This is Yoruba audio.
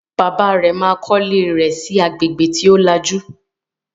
Bàbá rẹ̀ ma kọ́lé rẹ̀ sí agbègbè tí ó lajú